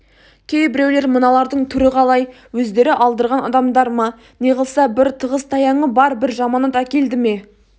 кейбіреулер мыналардың түрі қалай өздері алдырған адамдар ма неғылса бір тығызтаяңы бар бір жаманат әкелді ме